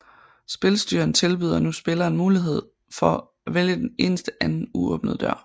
Spilstyreren tilbyder nu spilleren muligheden for at vælge den eneste anden uåbnede dør